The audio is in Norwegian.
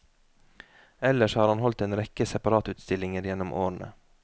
Ellers har han holdt en rekke separatustillinger gjennom årene.